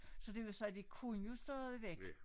Så det vil sige de kunne jo stadigvæk